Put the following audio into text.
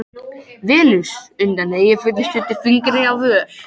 Venus undan Eyjafjöllum studdi fingri á vör.